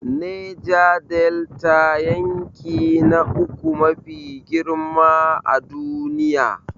Neja Delta, yanki na uku mafi girma a duniya.